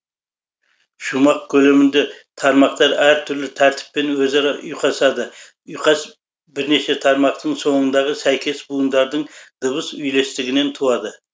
шумақ көлемінде тармақтар әр түрлі тәртіппен өзара ұйқасады ұйқас бірнеше тармақтың соңындағы сәйкес буындардың дыбыс үйлестігінен туады